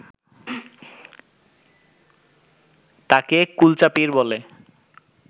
তাকে কুলচা-পীর বলে